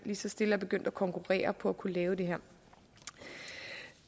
så stille er begyndt at konkurrere på at kunne lave det her